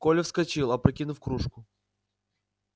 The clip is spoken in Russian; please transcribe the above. коля вскочил опрокинув кружку